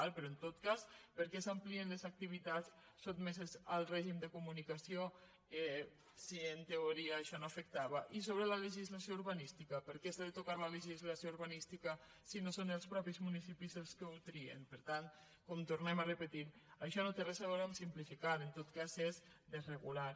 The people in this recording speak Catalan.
pe·rò en tot cas per què s’amplien les activitats sotmeses al règim de comunicació si en teoria això no afectava i sobre la legislació urbanística per què s’ha de tocar la legislació urbanística si no són els mateixos munici·pis els que ho trien per tant com ho tornem a repetir això no té res a veure amb simplificar en tot cas és desregular